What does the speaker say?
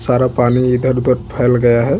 सारा पानी इधर-उधर फैल गया है।